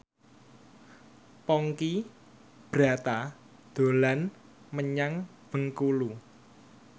Ponky Brata dolan menyang Bengkulu